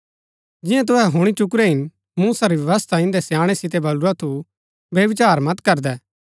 जियां तुहै हुणी चुकुरै हिन मूसा री व्यवस्था इन्दै स्याणै सितै बलुरा थु व्यभिचार मत करदै